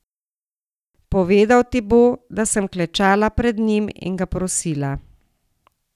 Povedal ti bo, da sem klečala pred njim in ga prosila.